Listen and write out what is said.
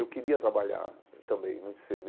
Eu queria trabalhar também muito cedo.